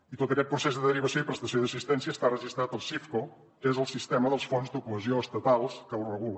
i tot aquest procés de derivació i prestació d’assistència està registrat al sifco que és el sistema dels fons de cohesió estatals que ho regula